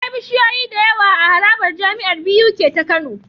Akwai bishiyoyi da yawa a harabar jamiar Buk ta kano